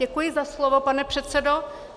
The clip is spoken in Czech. Děkuji za slovo, pane předsedo.